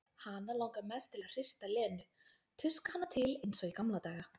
Hana langar mest til að hrista Lenu, tuska hana til eins og í gamla daga.